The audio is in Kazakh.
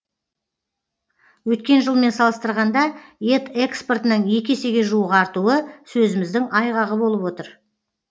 өткен жылмен салыстырғанда ет экспортының екі есеге жуық артуы сөзіміздің айғағы болып отыр